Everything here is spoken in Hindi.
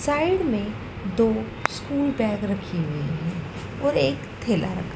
साइड में दो स्कूल बैग रखी हुई है और एक थैला रखा--